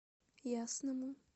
ясному